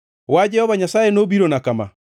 Wach Jehova Nyasaye nobirona kama: